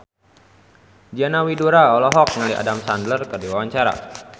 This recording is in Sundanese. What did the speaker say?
Diana Widoera olohok ningali Adam Sandler keur diwawancara